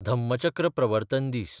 धम्मचक्र प्रवर्तन दीस